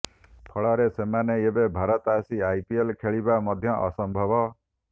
ଫଳରେ ସେମାନେ ଏବେ ଭାରତ ଆସି ଆଇପିଏଲ୍ ଖେଳିବା ମଧ୍ୟ ଅସମ୍ଭବ